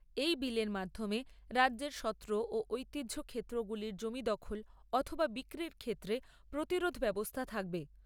এই বিলের মাধ্যমে রাজ্যের সত্র ও ঐতিহ্য ক্ষেত্রগুলির জমি দখল অথবা বিক্রির ক্ষেত্রে প্রতিরোধ ব্যবস্থা থাকবে।